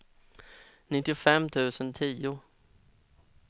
nittiofem tusen tio